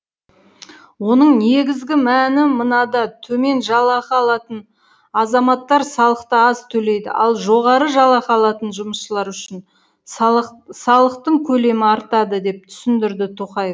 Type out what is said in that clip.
оның негізгі мәні мынада төмен жалақы алатын азаматтар салықты аз төлейді ал жоғары жалақы алатын жұмысшылар үшін салық салықтың көлемі артады деп түсіндірді тоқаев